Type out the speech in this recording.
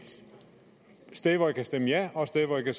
sted hvor jeg kan stemme ja og et sted hvor jeg